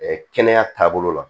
kɛnɛya taabolo la